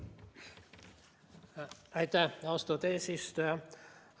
Aitäh, austatud eesistuja!